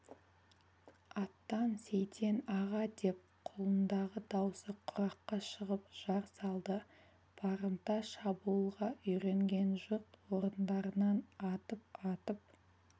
аттан сейтен аға деп құлындағы даусы құраққа шығып жар салды барымта шабуылға үйренген жұрт орындарынан атып-атып